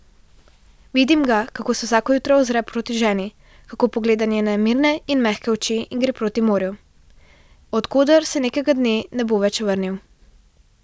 Vidim ga, kako se vsako jutro ozre proti ženi, kako pogleda njene mirne in mehke oči in gre proti morju, od koder se nekega dne ne bo več vrnil.